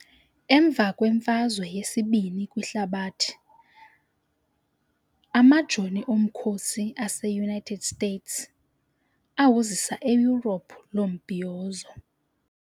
Emva kweMfazwe yesiBini kwiHlabathi, Amajoni omkhosi ase-US awuzisa eEurope lo mbhiyozo.